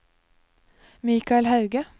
Michael Hauge